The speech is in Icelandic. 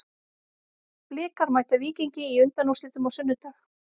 Blikar mæta Víkingi í undanúrslitum á sunnudag.